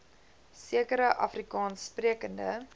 sekere afrikaans sprekende